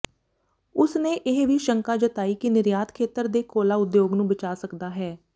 ਉਸਨੇ ਇਹ ਵੀ ਸ਼ੰਕਾ ਜਤਾਈ ਕਿ ਨਿਰਯਾਤ ਖੇਤਰ ਦੇ ਕੋਲਾ ਉਦਯੋਗ ਨੂੰ ਬਚਾ ਸਕਦਾ ਹੈ